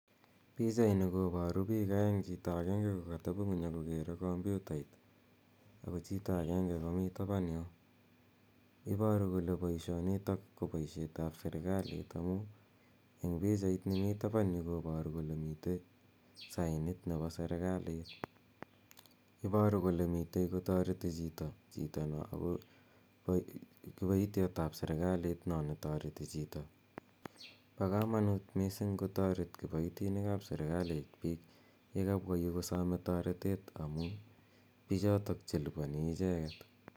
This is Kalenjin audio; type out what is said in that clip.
Pichaini koparu piik aeng', chito agenge ko katepi ng'uny ako kere kompyutait, ako chito agenge komi tapan yo. Iparu kole poishonitok ko paishetap serikalit amun en pichait nepo tapan yu koparu kole mitwn sainit nepo serikalit Iparu kole mitei kotareti chito chito no ako kipaityat ap serikalit no ne tareti chito. Pa kamanit missing' kotaret kipaitinik ap serikalit piik ye kapwa yu kosame taretet amu pichotok che lipani icheket.